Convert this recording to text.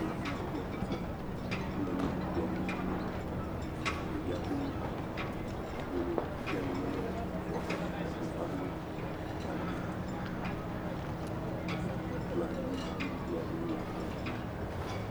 Ɖevi kple fofoa wole nuɖukplɔ̃ ŋu. Ɖevia ko abolo de nu me ne fofoa. Fofoa ɖo gaŋkui. Akpɔ̃a dzi, nuɖuɖu aɖewo le akplɔ̃ dzi.